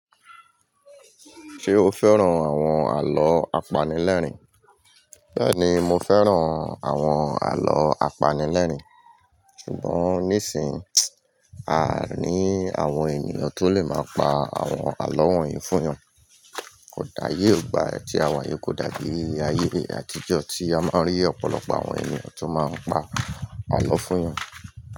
Ṣé o fẹ́ràn àwọn àlọ́ apanilẹ́rìń? Bẹ́ẹ̀ni, mo fẹ́ràn àwọn àlọ́ apanilẹ́rìń, ṣùgbọ́n nísìn, a à ní àwọn ènìyàn tó lè máa pa àwọn àlọ́ wọ̀nyí fún eeyan. Ó dáyé ò gba ẹ ti àwáyè kò dàbí ayé àtijọ́ tí a máa ń rí ọ̀pọ̀lọpọ̀ àwọn ènìyàn tó máa ń pa àlọ́ fún wọn.